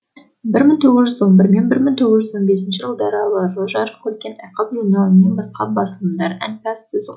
бір мың тоғыз жүз он бір мен бір мың тоғыз жүз он бесінші жылдары аралығы жарық көрген айқап журналы мен басқа басылымдар әнпаз сөзі